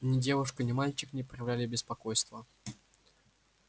ни девушка ни мальчик не проявляли беспокойства